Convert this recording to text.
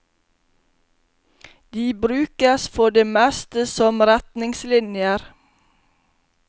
De brukes for det meste som retningslinjer.